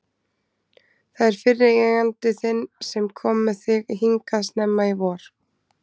Það er fyrri eigandi þinn sem kom með þig hingað snemma í vor.